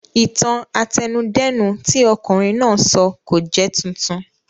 Ìtàn àtẹnudẹ́nu tí ọ̀kunrin náà sọ kò jẹ́ titun